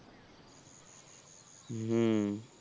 হুম,